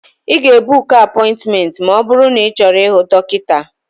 Ị ga-ebuku apointmenti ma ọ bụrụ na ịchọrọ ịhụ dọkịta.